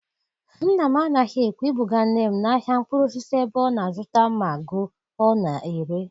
Nna m anaghị ekwe ibuga nne m n'ahịa mkpụrụ osisi ebe ọ na-azụta ma go ọ na-ere.